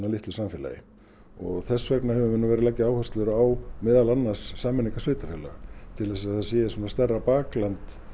litlu samfélagi og þess vegna höfum við verið að leggja áherslur á meðal annars á sameiningar sveitarfélaga til að það sé stærra bakland